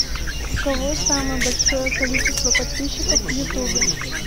у кого самое большое количество подписчиков в ютубе